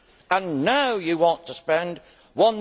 And now you want to spend EUR